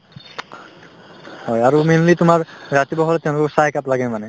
হয় আৰু mainly তোমাৰ ৰাতিপুৱা হলে তেওঁলোকক চাহ একাপ লাগেই মানে